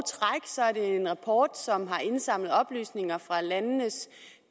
træk er en rapport som har indsamlet oplysninger fra landenes